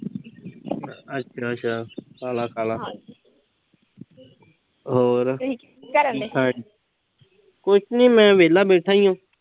ਅੱਛਾ-ਅੱਛਾ। ਖਾ ਲਾ-ਖਾ ਲਾ ਹੋਰ। ਕੁਸ਼ ਨੀਂ ਮੈਂ ਵੇਹਲਾ ਬੈਠਾ ਈ ਆਂ।